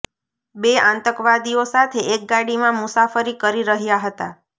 બે આતંકવાદીઓ સાથે એક ગાડીમાં મુસાફરી કરી રહ્યાં હતા